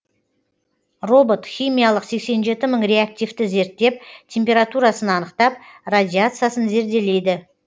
робот химиялық сексен жеті мың реактивті зерттеп температурасын анықтап радиациясын зерделейді